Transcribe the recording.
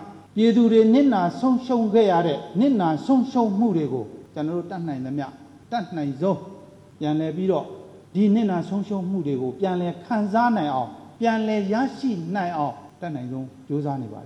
"ပြည်သူတွေနစ်နာဆုံးရှုံးခဲ့ရတဲ့ နစ်နာဆုံးရှုံးမှုတွေကို ကျနော်တို့ တက်နိုင်သမျှ အတက်နိုင်ဆုံး ပြန်လည် ပြီးတော့ ဒီနစ်နာဆုံးရှုံးမှုတွေကို ပြန်လည်ခံစားနိုင်အောင် ပြန်လည်ရရှိနိုင်အောင် အတက်နိုင်ဆုံး ကြိုးစားနေပါတ